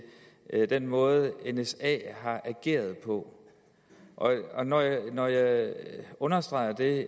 den måde nsa har ageret på når jeg understreger det er